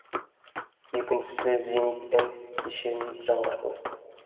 екіншісі зенит м кешенін жаңғырту